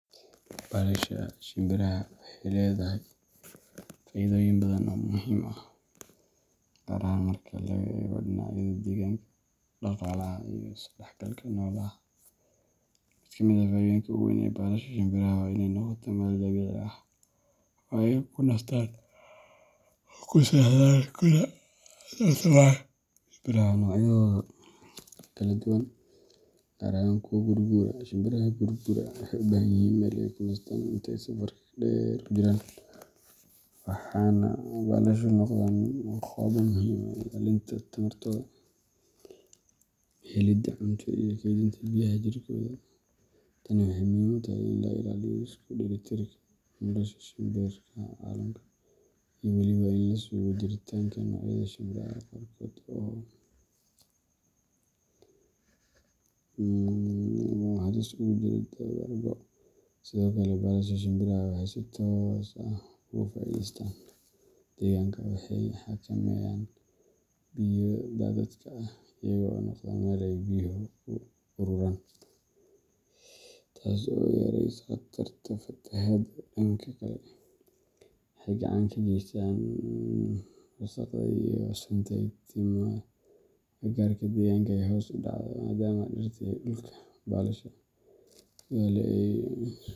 Balaasha shimbiraha waxay leedahay faa’iidooyin badan oo muhiim ah, gaar ahaan marka laga eego dhinacyada deegaanka, dhaqaalaha, iyo is-dhexgalka noolaha. Mid ka mid ah faa’iidooyinka ugu weyn ee balasha shimbiraha waa inay noqoto meel dabiici ah oo ay ku nastaan, ku seexdaan, kuna tarmaan shimbiraha noocyadooda kala duwan, gaar ahaan kuwa guur-guura. Shimbiraha guur-guura waxay u baahan yihiin meel ay ku nastaan inta ay safarka dheer ku jiraan, waxaana balayaashu noqdaan goobo muhiim u ah ilaalinta tamartooda, helidda cunto, iyo kaydinta biyaha jirkooda. Tani waxay muhiim u tahay in la ilaaliyo isku dheelitirka nolosha shimbiraha caalamka, iyo weliba in la sugo jiritaanka noocyada shimbiraha qaarkood oo halis ugu jira dabar-go'.Sidoo kale, balasha shimbiraha waxay si toos ah ugu faa’iideeyaan deegaanka. Waxay xakameeyaan biyo daadadka ah, iyaga oo noqda meel ay biyuhu ku ururaan, taas oo yaraysa khatarta fatahaadaha. Dhanka kale, waxay gacan ka geystaan in wasakhda iyo sunta ka timaadda agagaarka deegaanka ay hoos u dhacdo, maadaama dhirta iyo dhulka balasha ku yaalla ay.